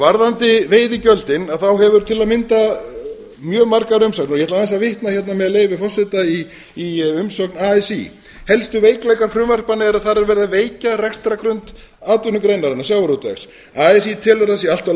varðandi veiðigjöldin þá hafa til að mynda mjög margar umsagnir og ég ætla aðeins að vitna með leyfi forseta í umsögn así helstu veikleikar frumvarpanna eru að farið verði að veikja rekstrargrunn atvinnugreinarinnar sjávarútvegs así telur að það sé allt of